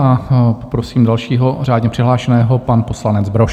A poprosím dalšího řádně přihlášeno, pan poslanec Brož.